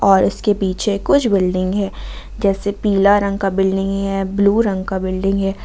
और इसके पीछे कुछ बिल्डिंग है जैसे पीला रंग का बिल्डिंग है ब्लू रंग का बिल्डिंग है।